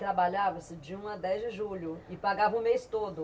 Trabalhava-se de um a dez de julho e pagava o mês todo.